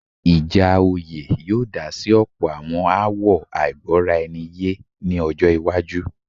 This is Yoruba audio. ìjà oyè yóò dá sí ọ̀pọ̀ àwọn aáwọ̀ àìgbọ́raẹniyé ní ọjọ́-iwájú.